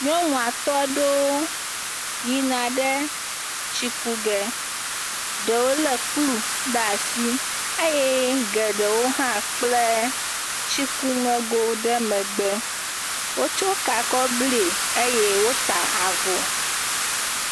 Nyɔnu atɔ̃ aɖewo yina ɖe tsikuge. Ɖewo le kplu ɖe asi eye geɖewo hã kple tsikuŋego ɖe megbe wotsɔ ka kɔ ble eye wota avɔ.